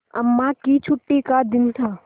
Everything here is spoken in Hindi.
अम्मा की छुट्टी का दिन था